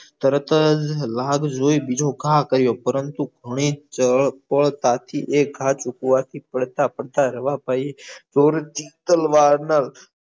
તરતજ લાગ જોઈ બીજો ઘા કર્યો પરંતુ ઘણી જ ચળપળ તાથી ઘા તૂટવાથી પડતા પડતા રવા ભઈ